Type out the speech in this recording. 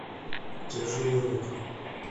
тяжелый рок